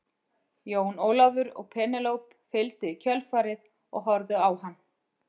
Jón Ólafur og Penélope fylgdu í kjölfarið og horfðu á hann.